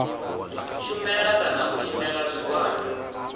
shumela kana u imela zwigwada